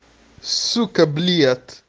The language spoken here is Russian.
сука блять